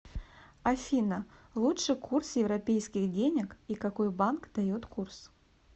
афина лучший курс европейских денег и какой банк дает курс